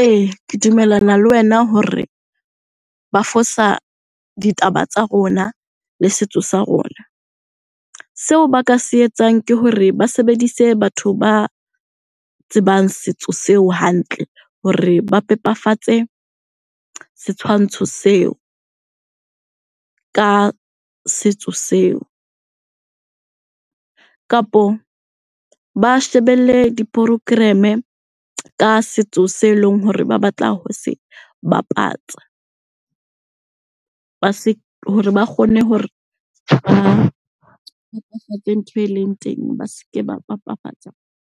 Ee, ke dumellana le wena hore ba fosa ditaba tsa rona le setso sa rona. Seo ba ka se etsang ke hore ba sebedise batho ba tsebang setso seo hantle, hore ba pepafatse setshwantsho seo ka setso seo. Kapo ba shebelle di-program-e ka setso se leng hore ba batla ho se bapatsa hore ba kgone hore ba ntho e leng teng ba se ke ba